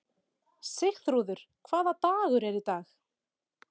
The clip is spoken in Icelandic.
Sigþrúður, hvaða dagur er í dag?